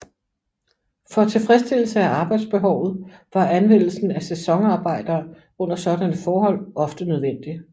For tilfredsstillelse af arbejdsbehovet var anvendelsen af sæsonarbejdere under sådanne forhold ofte nødvendig